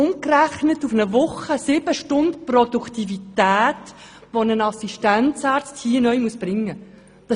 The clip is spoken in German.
Umgerechnet auf eine Woche sind das sieben Stunden Produktivität, welche ein solcher Assistenzarzt neu erbringen muss.